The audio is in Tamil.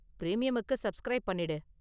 பிரீமியமுக்கு சப்ஸ்க்ரைப் பண்ணிடு.